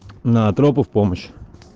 на тропы в помощь